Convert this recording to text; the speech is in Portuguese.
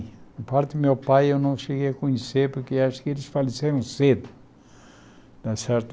Em parte do meu pai eu não cheguei a conhecer, porque acho que eles faleceram cedo, né certo?